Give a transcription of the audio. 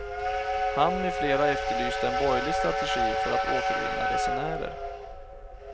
Han med flera efterlyste en borgerlig strategi för att återvinna resenärer.